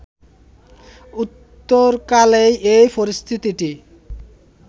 উত্তরকালের এই পরিস্থিতিটি